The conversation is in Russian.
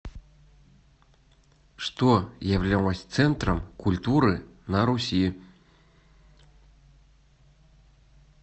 что являлось центром культуры на руси